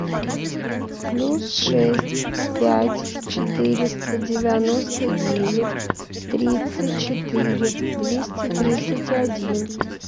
плюс шесть пять четыреста девяносто девять тридцать четыре двести тридцать один